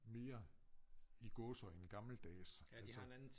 Mere i gåseøjne gammeldags altså